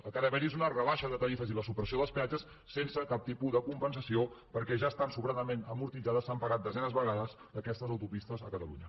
el que ha d’haver hi és una rebaixa de tarifes i la supressió dels peatges sense cap tipus de compensació perquè ja estan sobradament amortitzades s’han pagat desenes de vegades aquestes autopistes a catalunya